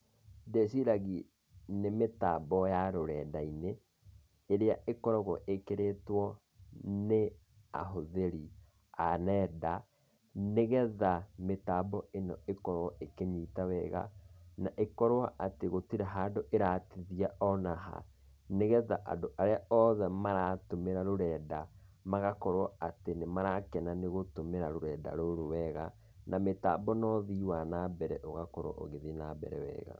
Ndĩciragi nĩ mĩtambo ya rũrenda-inî ĩrĩa ĩkoragwo ĩkĩrĩtwo nĩ ahũthĩri a nenda, nĩgetha mĩtambo ĩno ikorwo ĩkĩnyita wega, na ĩkorwo gũtirĩ handũ atĩ ĩratithia onaha, nĩgetha andũ arĩa othe maratũmĩra rũrenda, magakorwo atĩ nĩ marakena nĩ gũtũmĩra rũrenda rũrũ wega, na mĩtambo na ũthii wa nambere ũgakorwo ĩgĩthiĩ nambere wega.